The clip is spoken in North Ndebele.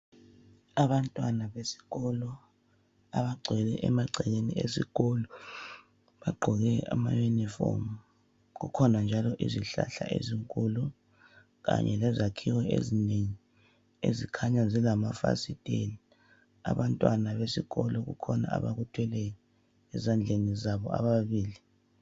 Abantwana besikolo abagcwele emagcekeni esikolo bagqoke ama uniform. Kukhona njalo izihlahla ezinkulu kanye lezakhiwo ezinengi ezikhanya zilamafasiteli. Abantwana besikolo kukhona abakuthweleyo ezandleni zabo ababili.